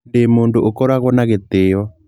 Ndĩ mũndũ ũkoragwo na gĩtĩo